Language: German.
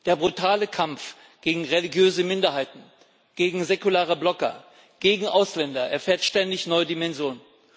Der brutale Kampf gegen religiöse Minderheiten, gegen säkulare Blogger, gegen Ausländer erfährt ständig neue Dimensionen.